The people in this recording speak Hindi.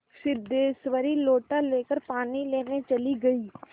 सिद्धेश्वरी लोटा लेकर पानी लेने चली गई